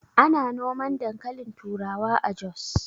Ana noman dankalin turawa a Jos